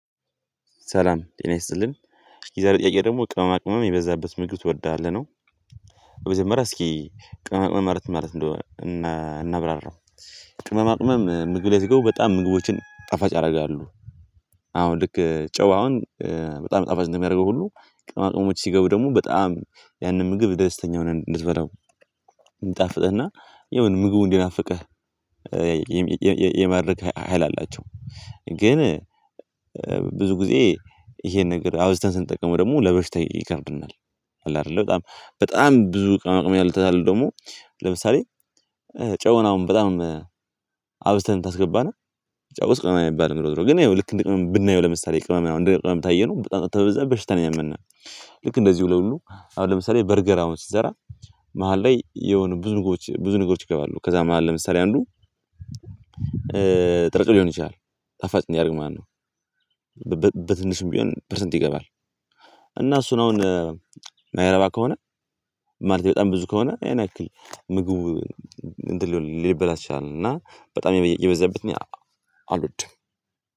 ሰላም ጤና ይስጥልን የዛሬ ለጥያቄ ደግሞ ቅመማቅመም የበዛበት ምግብ ትወዳለህ ነው? በመጀመሪያ እስኪ ቅመማቅመም ማለትምን ማለት እንደሆነ እናብራራው። ቅመማ ቅመም ምግብ ላይ ይገቡ በጣም ምግቦችን ጣፋጭ ያደርጋሉ። አሁን ልክ ጨው አሁን በጣም ጠፋጭ ነው የሚያደርገው ሁሉ ቅመማቅመሞች ሲገቡ ደግሞ በጣም ያንን ምግብ ደስተኛ ሆነህ እንድትበላው እንዲጣፍጥህና የሆነ ምግቡ እንዲናፍቅህ። የማድረግ ሀይል አላቸው። ግን ብዙ ጊዜ ይሄን ነገር አብዝተን ስንጠቀመው ደግሞ ለበሽታ ይከፍተናል። አለ አይደለ በጣም በጣም ብዙ ቅመማቅመም ያልተታልን ደግሞ ለምሳሌ ጨውን አሁን በጣም አብዝተን ታስገባና ጫው ቅመም የሚባል ነው የምለው ግን ያው ልክ እንደ ቅመም ብናየው ለምሳሌ ቅመም ነው እንደ ቅመም ታየነው በጣም ከበዛ በሽታ ነው የሚሆነው። ልክ እንደዚህ ሁሉ ለሁሉ አሁን ለምሳሌ በርገር አሁን ሲሰራ መሃል ላይ የሆነ ብዙ ነገሮች ብዙ ንጉሮች ይገባሉ ከዛም መሃል ለምሳሌ አንዱ ጥርግ ሊሆን ይችላል ጣፋጭ እንዲያደርግ ማለት ነው። በትንሹም ቢሆን ፐርሰንት ይገባል። እና እሱን አሁን ማይረባ ከሆነ ማለት በጣም ብዙ ከሆነ ያን ያክል ምግብ እንትን ሊበላሽ ይችላል። እና በጣም የበዛበት እኔ አልወድም።